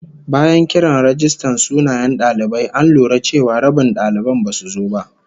Bayan kiran rajistan sunayen dalibai, an lura cewa rabin daliban basu zo ba